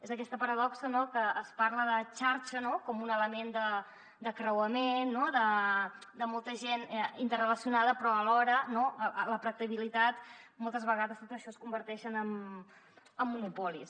és aquesta paradoxa no que es parla de xarxa com un element de creuament de molta gent interrelacionada però alhora a la pràctica moltes vegades tot això es converteix en monopolis